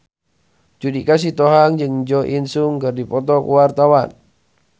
Judika Sitohang jeung Jo In Sung keur dipoto ku wartawan